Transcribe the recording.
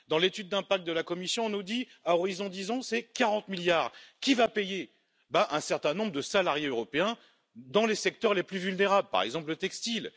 Dans l'étude d'impact de la Commission, on nous dit que d'ici 10 ans, ce sera 40 milliards. Et qui va payer? Sans aucun doute, un certain nombre de salariés européens dans les secteurs les plus vulnérables, par exemple le textile.